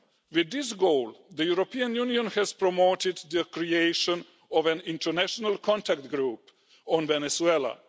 With this goal, the European Union has promoted the creation of an international contact group on Venezuela.